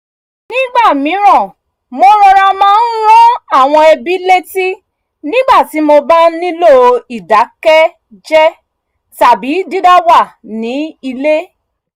nígbà mìíràn mo rọra máa ń rán àwọn mọ̀lẹ́bí létí nígbà tí mo bá nílò ìdákẹ́jẹ́ tàbí dídáwà ní ilé